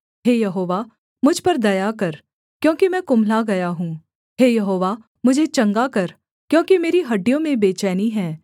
हे यहोवा मुझ पर दया कर क्योंकि मैं कुम्हला गया हूँ हे यहोवा मुझे चंगा कर क्योंकि मेरी हड्डियों में बेचैनी है